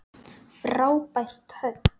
Frábært högg.